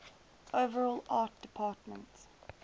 overall art department